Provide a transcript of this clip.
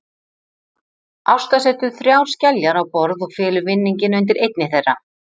Ásta setur þrjár skeljar á borð og felur vinning undir einni þeirra.